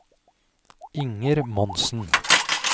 Inger Monsen